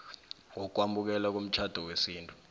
wokwamukelwa komtjhado wesintu